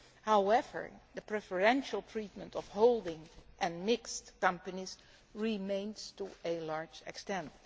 However, the preferential treatment of holding and mixed companies remains to a large extent.